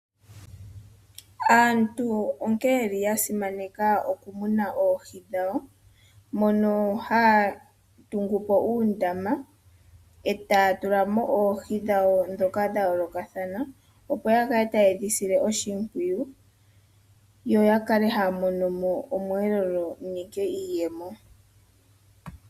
Aantu onkene ye li ya simaneka okumuna oohi dhawo, moka haya tungu po uundama e taya tula mo oohi dhawo ndhoka dha yolokathana opo ya kale taye dhi sile oshimbwiyu, yo ya kale haya mono mo omwelelo nenge iiyemo.